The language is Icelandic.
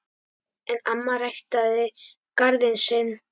En amma ræktaði garðinn sinn.